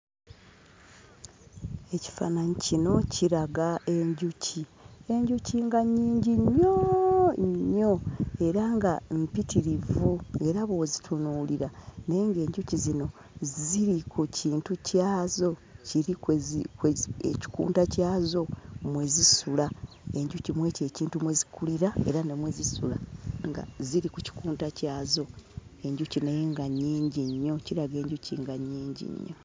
Ekifaananyi kino kiraga enjuki. Enjuki nga nnyingi nnyo nnyo era nga mpitirivu, ng'era bw'ozitunuulira naye ng'enjuki zino ziri ku kintu kyazo kiri kwe zi ekikunta kyazo mwe zisula. Enjuki mu ekyo ekintu mwe zikulira era ne mwe zisula nga ziri ku kikunta kyazo. Enjuki naye nga nnyingi nnyo; kiraga enjuki nga nnyingi nnyo.